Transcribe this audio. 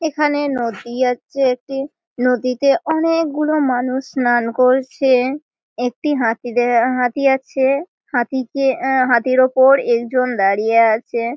এইখানে নদী আছে। একটি নদীতে অনেকগুলো মানুষ স্নান করছে। একটি হাতি আছে হাতির ওপর একজন দাঁড়িয়ে আছে।